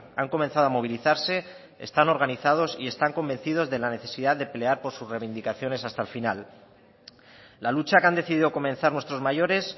han comenzado a movilizarse están organizados y están convencidos de la necesidad de pelear por sus reivindicaciones hasta el final la lucha que han decidido comenzar nuestros mayores